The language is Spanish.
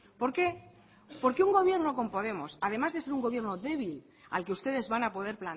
por qué porque un gobierno con podemos además de ser un gobierno débil al que ustedes van a poder